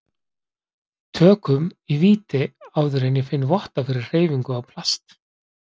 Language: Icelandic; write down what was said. tökum í víti áður en ég finn votta fyrir hreyfingu á plast